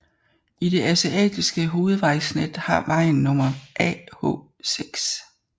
I det asiatiske hovedvejsnet har vejen nummer AH6